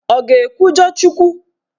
Ọ ga-ekwujọ Chukwu?